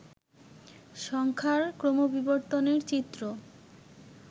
সংখ্যার ক্রমবিবর্তনের চিত্র